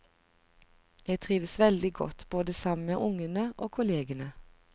Jeg trivdes veldig godt, både sammen med ungene og kollegene.